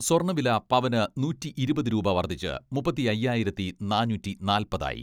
സ്വർണ്ണവില പവന് നൂറ്റിയിരുപത് രൂപ വർദ്ധിച്ച് മുപ്പത്തിയയ്യായിരത്തി നാന്നൂറ്റിനാല്പത് ആയി.